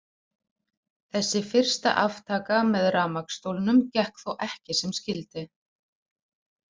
Þessi fyrsta aftaka með rafmagnsstólnum gekk þó ekki sem skyldi.